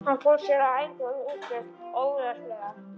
Hann fór sér að engu óðslega.